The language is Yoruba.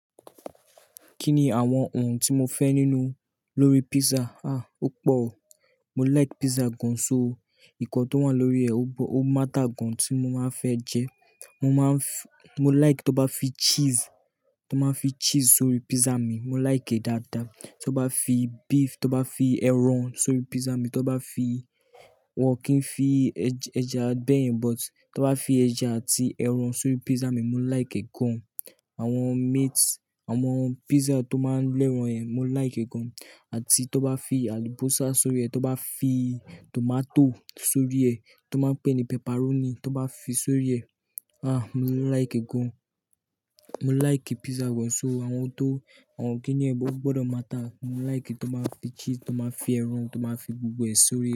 Kí ni àwọn ohun tí mo fẹ́ nínú lórí pizza? Ah, ó pọ̀. Mo like pizza gan so. Nǹkan tó wà lórí ẹ́ ó máta gan tí mo máa ń fẹ́ jẹ. Mo like tó bá fi cheese tó bá fi cheese sórí pizza mi, mo like e dáadáa. Tó bá fi beef, tó bá fi ẹran sórí pizza mi, tó bá fi-- wọ́n kì í fi ẹja bẹ́ẹ̀ yẹn but tó bá fi ẹja àti ẹran sórí pizza mi, mo like e gan. Àwọn meat, àwọn pizza tó máa ń lẹ́ran yẹn, mo like e gan. Àti tó bá fi àlùbósà sórí ẹ, tó bá fi tòmátò sórí ẹ tó máa ń pè ní pepperoni, tó bá fi sórí ẹ, ah mo like e gan. Mo like pizza gan so. Àwọn ohun tó-- àwọn kìnì gbọdọ̀ máa ta, mo like tó máa fi cheese, tó máa fi ẹran, tó máa fi gbogbo ẹ̀ sórí.